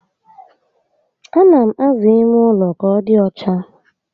A na m aza ime ụlọ ka ọ dị ọcha